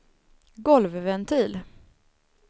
golvventil